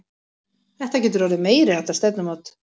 Þetta getur orðið meiriháttar stefnumót!